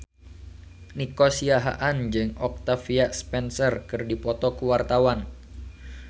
Nico Siahaan jeung Octavia Spencer keur dipoto ku wartawan